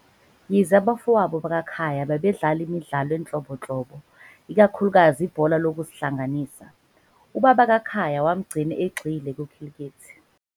Yize abafowabo bakaKhaya babedlala imidlalo enhlobonhlobo, ikakhulukazi ibhola lokuzihlanganisa, ubaba kaKhaya wamgcina egxile kwikhilikithi.